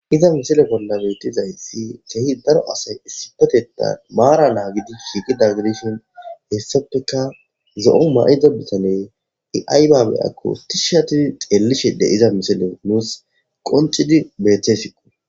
Iza misile bollabetizayi kehi daro asay issipeteta maara naa gidi hiigi daggidishon heessafeka zo'on ma'ido bisane iaybaabe akko ti shati xeellishede iza misile nuus qoncidi beeththesiqo.